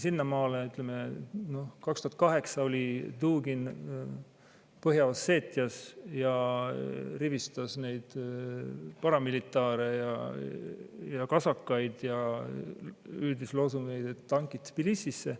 Ütleme, aastal 2008 Dugin rivistas Põhja-Osseetias neid paramilitaare ja kasakaid ja hüüdis loosungeid "Tankid Tbilisisse!".